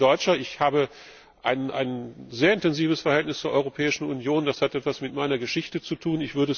Ich bin Deutscher, ich habe ein sehr intensives Verhältnis zur Europäischen Union das hat etwas mit meiner Geschichte zu tun.